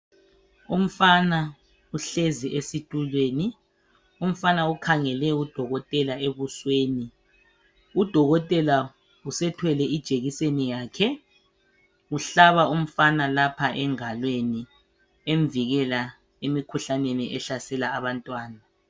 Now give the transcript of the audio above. umfana uhlezi esitulweni umfana ukhangele u dokotela ebusweni u dokotela usethwele i jekiseni yakhe uhlaba umfana lapha engalweni emvikela emkhuhlaneni ehlasela abantwana